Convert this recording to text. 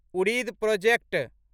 उड़िद project